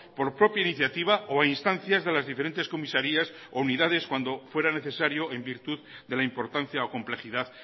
por propia iniciativa o a instancias de las diferentes comisarías o unidades cuando fuera necesario en virtud de la importancia o complejidad